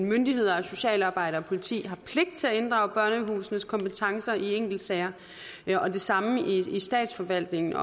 myndigheder socialarbejdere og politi har pligt til at inddrage børnehusenes kompetencer i enkeltsager og det samme i statsforvaltningen